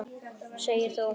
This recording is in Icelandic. Segir þú.